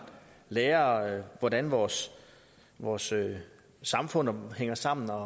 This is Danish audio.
lærer hvordan vores vores samfund hænger sammen og